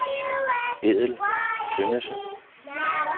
Edel Tønnesen